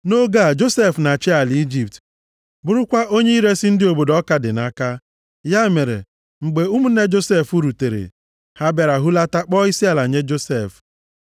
Nʼoge a, Josef na-achị ala Ijipt, bụrụkwa onye iresi ndị obodo ọka dị nʼaka. Ya mere, mgbe ụmụnne Josef rutere, ha bịara hulata kpọọ isiala nye Josef.